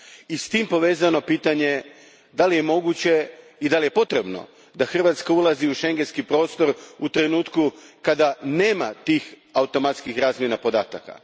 I s tim povezano pitanje je li moguće i je li potrebno da Hrvatska ulazi u Schengenski prostor u trenutku kada nema tih automatskih razmjena podataka?